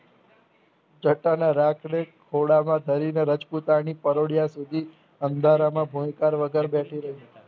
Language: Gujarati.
જતાના રાત્રે થોડામાં ધણીને રાજપૂતાણી પરોડીયા સુધી અંધારામાં ભોયકાર વધારે બેઠી રહી